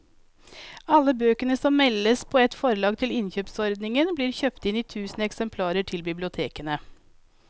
Alle bøker som meldes på av et forlag til innkjøpsordningen blir kjøpt inn i tusen eksemplarer til bibliotekene.